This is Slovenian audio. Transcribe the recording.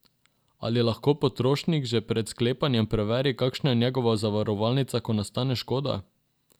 Ali lahko potrošnik že pred sklepanjem preveri, kakšna je njegova zavarovalnica, ko nastane škoda?